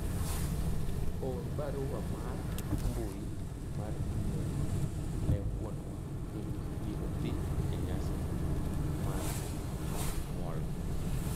or barua mar mbui mar email ne wuonwa ni abiro dhi e nyasi mar odiochieng nyuol